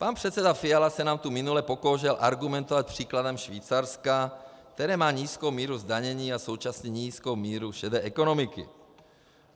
Pan předseda Fiala se nám tu minule pokoušel argumentovat příkladem Švýcarska, které má nízkou míru zdanění a současně nízkou míru šedé ekonomiky.